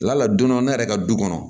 La don dɔ ne yɛrɛ ka du kɔnɔ